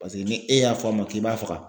Paseke ni e y'a fɔ a ma k'i b'a faga